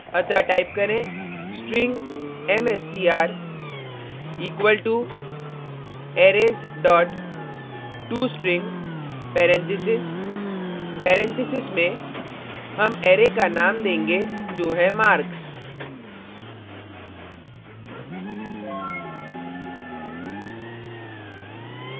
अतः type करें string mstr equal to arrays dot tostring parentheses parentheses में हम arrays का name देंगे जो है marks